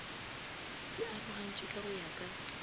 di arogantšwe go ya ka